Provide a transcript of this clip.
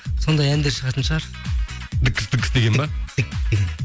сондай әндер шығатын шығар деген ба